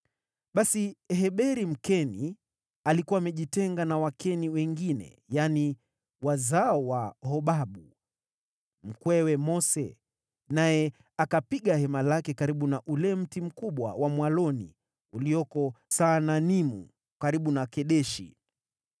Basi Heberi, Mkeni, alikuwa amejitenga na Wakeni wengine, yaani, wazao wa Hobabu, mkwewe Mose, naye akapiga hema lake karibu na ule mti mkubwa wa mwaloni ulioko Saananimu, karibu na Kedeshi.